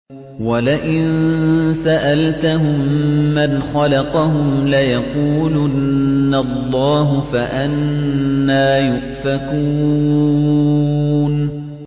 وَلَئِن سَأَلْتَهُم مَّنْ خَلَقَهُمْ لَيَقُولُنَّ اللَّهُ ۖ فَأَنَّىٰ يُؤْفَكُونَ